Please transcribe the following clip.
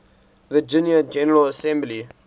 virginia general assembly